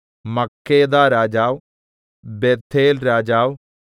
മക്കേദാരാജാവ് ബേഥേൽരാജാവ്